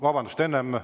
Vabandust!